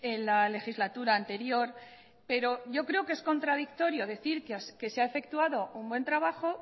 en la legislatura anterior pero yo creo que es contradictorio decir que se ha efectuado un buen trabajo